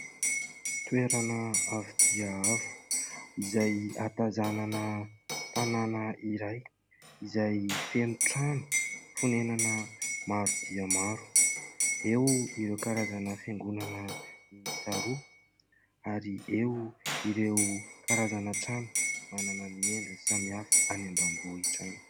Toerana avo dia avo, izay ahatazanana tanàna iray, izay feno trano fonenana maro dia maro, eo ireo karazana fiangonana miisa roa ary eo ireo karazana trano manana ny endriny samihafa, any ambanivohitra any.